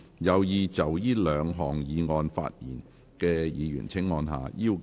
有意就這兩項議案發言的議員請按下"要求發言"按鈕。